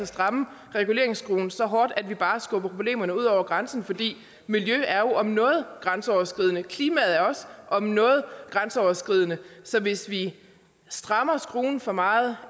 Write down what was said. strammer reguleringsskruen så hårdt at vi bare skubber problemerne ud over grænsen for miljø er jo om noget grænseoverskridende og klima er om noget grænseoverskridende så hvis vi strammer skruen for meget